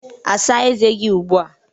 asa eze gi ugbua